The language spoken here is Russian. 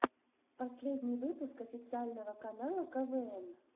последний выпуск официального канала квн